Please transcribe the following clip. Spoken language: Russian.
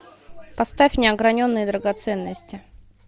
поставь неограненные драгоценности